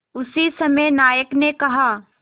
उसी समय नायक ने कहा